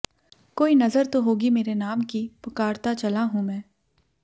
कोई नज़र तो होगी मेरे नाम की पुकारता चला हूं मैं